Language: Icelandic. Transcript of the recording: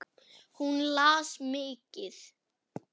Hún las mikið.